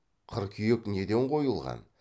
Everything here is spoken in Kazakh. қыркүйек неден қойылған